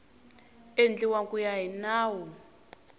endliwa ku ya hi nawu